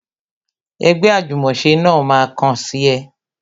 Ẹgbẹ́ ajumose náà ma kàn sí ẹ